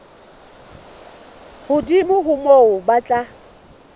hodimo ho moo ba tla